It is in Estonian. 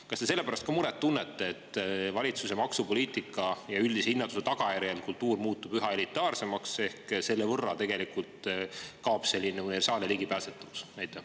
Kas te selle pärast ka muret tunnete, et valitsuse maksupoliitika ja üldise hinnatõusu tagajärjel muutub kultuur üha elitaarsemaks ehk selle tõttu kaob selline universaalne ligipääsetavus?